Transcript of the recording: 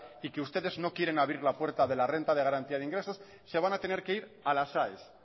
y que ustedes no quieren abrir la puerta de la renta de garantía de ingresos se van a tener que ir a las aes